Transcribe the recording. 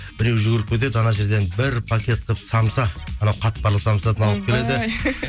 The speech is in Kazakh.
біреуі жүгіріп кетеді анау жерден бір пакет қылып самса анау қатпарлы самсадан алып келеді